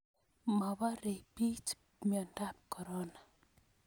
Maporei pich miandap korona